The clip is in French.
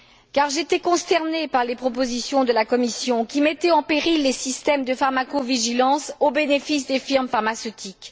Car j'étais consternée par les propositions de la Commission, qui mettaient en péril les systèmes de pharmacovigilance au bénéfice des firmes pharmaceutiques.